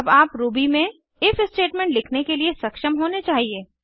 अब आप रूबी में इफ स्टेटमेंट लिखने के लिए सक्षम होने चाहिए